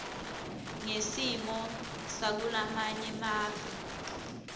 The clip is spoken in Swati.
ngesimo sakulamanye mave